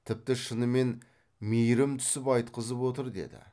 тіпті шынымен мейірім түсіп айтқызып отыр деді